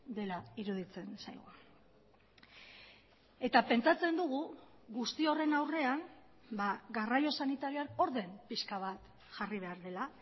dela iruditzen zaigu eta pentsatzen dugu guzti horren aurrean garraio sanitarioan orden pixka bat jarri behar dela